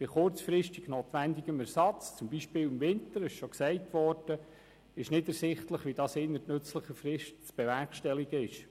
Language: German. Bei kurzfristig notwendigem Ersatz, beispielsweise im Winter, ist nicht ersichtlich, wie dies innerhalb nützlicher Frist zu bewerkstelligen ist.